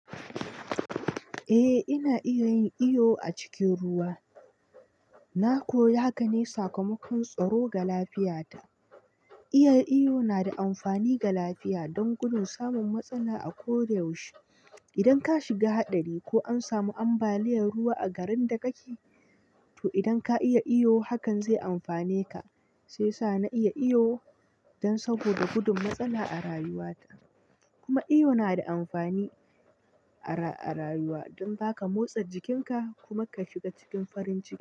Eh ina iya yin iyo a cikin ruwa. Na koya haka ne sakamakon tsaro ga lafiyata. Iya iyo na da amfani ga lafiya don gudun samun matsala a ko da yaushe. Idan ka shiga haɗari ko an samu ambaliyar ruwa a garin da kake, to idan ka iya iyo hakan zai amfane ka. Shi ya sa na iya iyo don saboda gudun matsala a rayuwata. Kuma iyo na da amfani a rayuwa don zaka motsa jikinka kuma ka shiga cikin farin ciki.